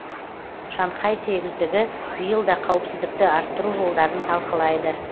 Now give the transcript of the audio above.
шанхай сегіздігі биыл да қауіпсіздікті арттыру жолдарын талқылайды